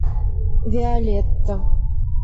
виолетта